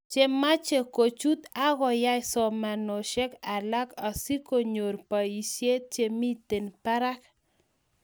chemache kochuut agoyae somanetashek alak asigonyor boishet chemiten barak